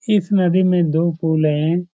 इस नदी मे दो पुले है।